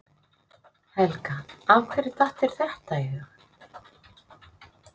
Helga: Af hverju datt þér þetta í hug?